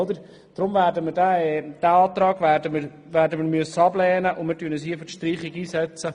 Deshalb werden wir diesen Antrag ablehnen müssen, und wir werden uns hier für die Streichung einsetzen.